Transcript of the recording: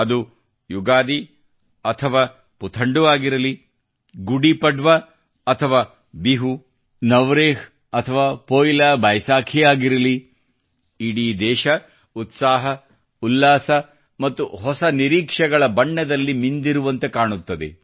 ಅದು ಯುಗಾದಿ ಅಥವಾ ಪುಥಂಡು ಆಗಿರಲಿ ಗುಡಿ ಪಡ್ವಾ ಅಥವಾ ಬಿಹು ಬೈಸಾಖಿ ಆಗಿರಲಿ ಇಡೀ ದೇಶವು ಉತ್ಸಾಹ ಉಲ್ಲಾಸ ಮತ್ತು ಹೊಸ ನಿರೀಕ್ಷೆಗಳ ಬಣ್ಣದಲ್ಲಿ ಮಿಂದಿರುವಂತೆ ಕಾಣುತ್ತದೆ